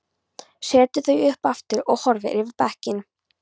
Setur þau upp aftur og horfir yfir bekkinn.